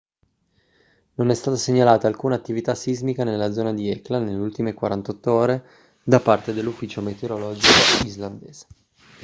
non è stata segnalata alcuna attività sismica nella zona di hekla nelle ultime 48 ore da parte dell'ufficio meteorologico islandese